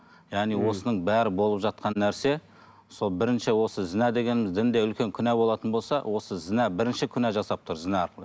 яғни осының бәрі болып жатқан нәрсе сол бірінші осы зінә дегеніміз дінде үлкен күнә болатын болса осы зінә бірінші күнә жасап тұр зінә арқылы